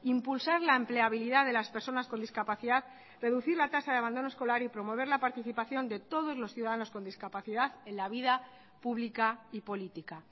impulsar la empleabilidad de las personas con discapacidad reducir la tasa de abandono escolar y promover la participación de todos los ciudadanos con discapacidad en la vida pública y política